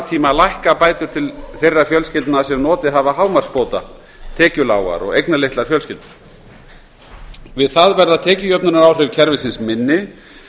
tíma lækka bætur til þeirra fjölskyldna sem notið hafa hámarksbóta tekjulágra og eignalítilla fjölskyldna við það verða tekjujöfnunaráhrif kerfisins minni